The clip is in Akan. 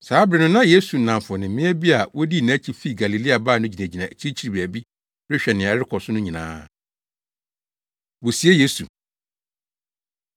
Saa bere no na Yesu nnamfo ne mmea bi a wodii nʼakyi fi Galilea baa no gyinagyina akyirikyiri baabi rehwɛ nea ɛrekɔ so no nyinaa. Wosie Yesu